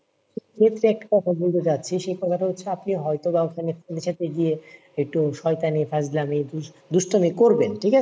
একটা কথা বলতে চাচ্ছি সেটা কথা হচ্ছে আপনি হয়তো বা ওখানে friend এর সাথে গিয়ে একটু শয়তানি ফাজলামি দুষ~ দুষ্টামি করবেন ঠিক আছে?